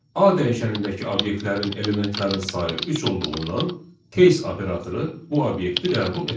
A dəyişənindəki obyektlərin elementlərin sayı üç olduğundan case operatoru bu obyekti qəbul etmədi.